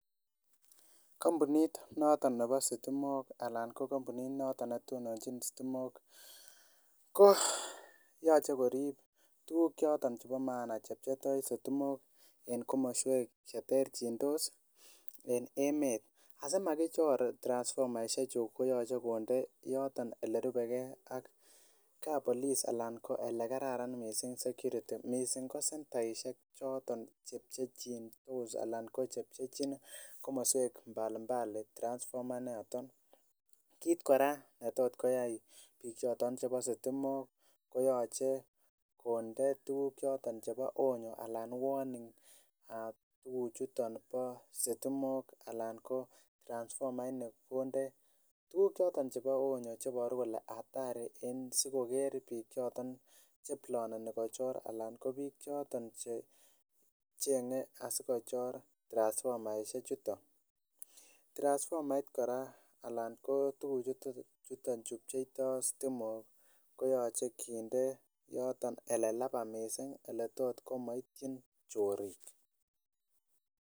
Kampunit noton nebo stimok anan kampunit noton netononjin stimok ko yoche korip tuguk choton chebo maana che pcheitoo sitimok en komoswek cheterchindos en emet asimakichor transfomaisiek chuton koyoche konde elerubegee ak kapolis alan ko elekararan missing security missing ko sentaisiek choton che pchechindos alan ko chepchechin komoswek mbali mbali transfomait noton. Kit kora netot koyai biik choton chebo stimok koyoche konde tuguk choton chebo onyo anan warning tuguk chuton bo sitimok alan ko transfomait niton konde tuguk choton chebo onyo cheboru kole hatari en sikoker biik choton che ploneni kochor anan ko biik choton che cheng'e asikochor transfomaisiek chuton. Transfomait kora anan ko tuguk chuton chu pcheitoo stimok koyoche kinde yoton elelaba missing eletot komoityin chorik